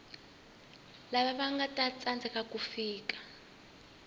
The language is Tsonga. lava vanga tsandzeka ku fika